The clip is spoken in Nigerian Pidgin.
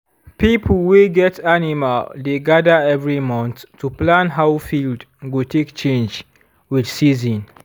pipo wey get animal dey gather every month to plan how field go take change with season.